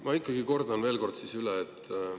Ma ikkagi siis veel kord.